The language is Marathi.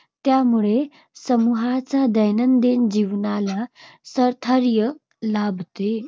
त्यामुळे समूहाच्या दैनंदिन जीवनाला स्थैर्य लाभते.